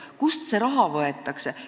Kust see raha võetakse?